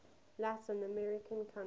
latin american country